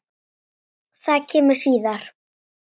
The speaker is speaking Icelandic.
Það kemur síðar.